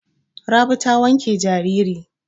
Rabi ta wanke jariri.